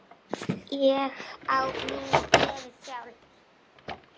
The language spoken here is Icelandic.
Ég á mína gleði sjálf.